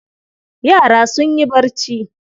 Yara sun yi barci.